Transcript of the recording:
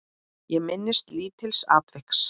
Ég minnist lítils atviks.